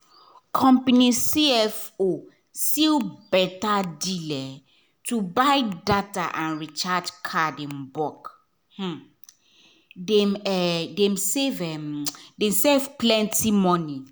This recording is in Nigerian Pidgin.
company cfo seal beta um deal to buy data and recharge card in bulk — um dem um save um save plenty money.